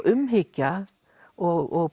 umhyggja og